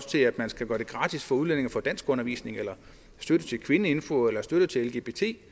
til at man skal gøre det gratis for udlændinge at få danskundervisning støtte til kvinfo eller støtte til lgbt